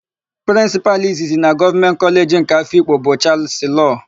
Prịnsịpalụ izizi na Gọọmenti Kọleji nke Afikpo bụ Chalụsị Loo.